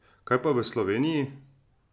Kaj pa v Sloveniji?